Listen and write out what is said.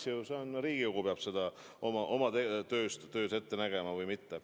See on Riigikogu, kes peab seda oma töös ette nägema või mitte.